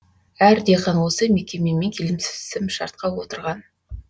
әр диқан осы мекемемен келімсімшартқа отырған